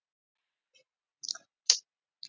Vinir mínir, byrjaði presturinn.